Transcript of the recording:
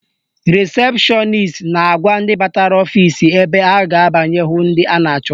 Rịsepshọnis na-agwa ndị batara ọfisi ebe ha ga-abanye hụ ndị ha na-achọ